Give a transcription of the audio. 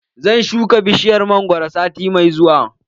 Zan shuka bishiyar mangwaro sati mai zuwa.